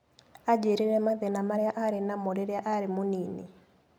Aanjĩrire mathĩna marĩa aarĩ namo rĩrĩa arĩ mũnini.